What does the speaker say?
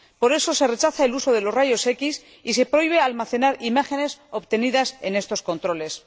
Por eso, se rechaza el uso de los rayos X y se prohíbe almacenar imágenes obtenidas en estos controles.